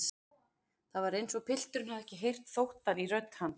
Það var eins og pilturinn hefði ekki heyrt þóttann í rödd hans.